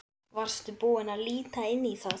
Varstu búinn að líta inn í það?